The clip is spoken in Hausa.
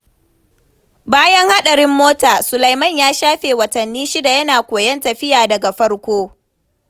Bayan hadarin mota, Suleiman ya shafe watanni shida yana koyon tafiya daga farko.